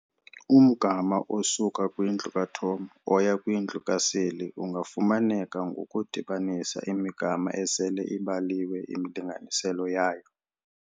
Umgama osuka kwindlu kaTom oya kwindlu kaSally ungafumaneka ngokudibanisa imigama esele ibaliwe imilinganiselo yayo.